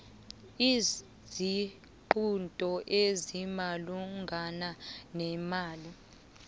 isiqunto esimalungana nemali